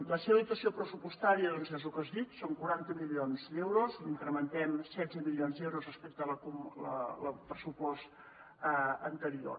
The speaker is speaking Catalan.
la seva dotació pressupostària doncs és el que he dit són quaranta milions d’euros incrementem setze milions d’euros respecte al pressupost anterior